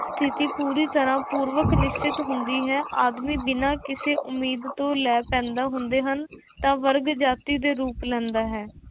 ਸਥਿੱਤੀ ਪੂਰੀ ਤਰ੍ਹਾਂ ਪੂਰਵਕ ਨਿਸ਼ਚਿਤ ਹੁੰਦੀ ਹੈ ਆਦਮੀ ਬਿਨਾਂ ਕਿਸੇ ਉਮੀਦ ਤੋਂ ਪੈਦਾ ਹੁੰਦੇ ਹਨ ਤਾਂ ਵਰਗ ਜਾਤੀ ਦੇ ਰੂਪ ਲੈਂਦਾ ਹੈ।